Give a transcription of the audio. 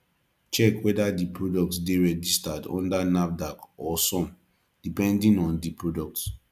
check whether di product dey registered under nafdac or son depnding on di product